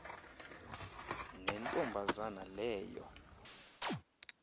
nento mbazana leyo